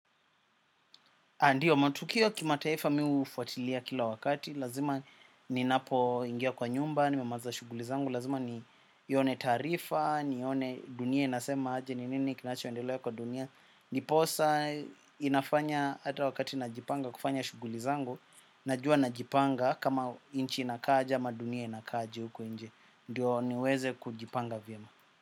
Haya ndiyo, matukio kima taifa mi hufuatilia kila wakati, lazima ninapo ingia kwa nyumba, nimemaliza shughuli zangu, lazima nione taarifa, nione dunia inasema aje, ni nini kinacho endelea kwa dunia. Ndiposa inafanya ata wakati najipanga kufanya shughuli zangu, najua najipanga kama inchi inaakaja ama dunia inakaja huko inje. Ndio niweze kujipanga vyema.